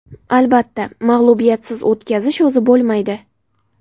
Albatta, mag‘lubiyatsiz o‘tkazish o‘zi bo‘lmaydi.